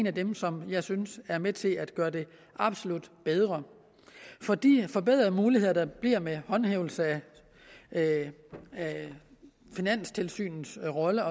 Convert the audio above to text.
af dem som jeg synes er med til at gøre det absolut bedre for de forbedrede muligheder der bliver med håndhævelse af finanstilsynets rolle